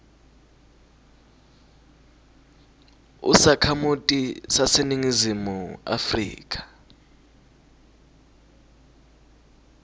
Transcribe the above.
usakhamuti saseningizimu afrika